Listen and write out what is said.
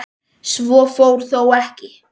Svo fór þó ekki.